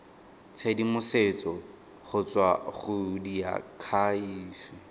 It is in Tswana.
tshedimosetso go tswa go diakhaefe